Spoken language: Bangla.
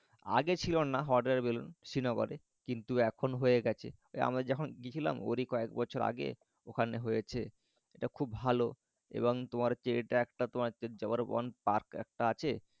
আগে ছিল না hot air balloon শ্রীনগরে কিন্তু এখন হয়ে গেছে। আমরা যখন গেছিলাম ওরই কয়েক বছর আগে ওখানে হয়েছে এটা খুব ভালো এবং তোমার যে এটা একটা তোমার জবর বোন পার্ক একটা আছে